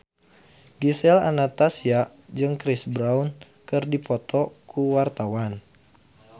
Gisel Anastasia jeung Chris Brown keur dipoto ku wartawan